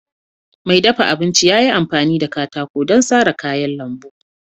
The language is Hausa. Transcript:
Mai dafa abinci ya yi amfani da katako don sara kayan lambu.